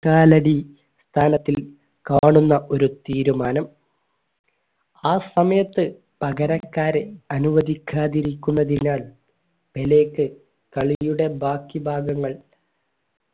കാലടി തലത്തിൽ കാണുന്ന ഒരു തീരുമാനം ആ സമയത്ത് പകരക്കാരൻ അനുവദിക്കാതിരിക്കുന്നതിനാൽ പെലെക്ക് കളിയുടെ ബാക്കി ഭാഗങ്ങൾ